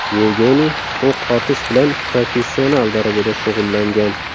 Yevgeniy o‘q otish bilan professional darajada shug‘ullangan.